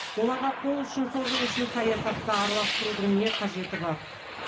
оларға қол ұшын созу үшін саясатты араластырудың не қажеті бар